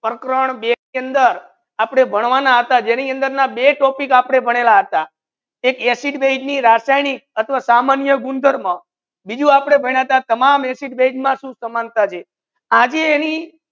પ્રકરણ બે ની અંદર આપને ભણવાના હતા જેની અંદર ના બે topic આપડે ભણેલા હતા એક acid base ની રસાયનિક અથવા સમાન્ય ગુંધર્વ મા બીજુ આપને તમામ acid base મા શુ સમન્તા છે આજે એની